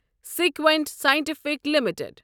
Sequent scientific limited